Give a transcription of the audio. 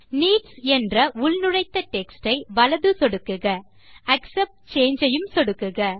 needs என்ற உள்நுழைத்த text ஐ வலது சொடுக்குக ஆக்செப்ட் சாங்கே ஐயும் சொடுக்குக